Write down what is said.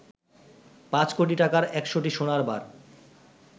৫ কোটি টাকার ১০০টি সোনার বার